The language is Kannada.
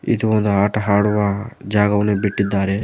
ಇದು ಒಂದು ಆಟ ಆಡುವ ಜಾಗವನ್ನು ಬಿಟ್ಟಿದ್ದಾರೆ.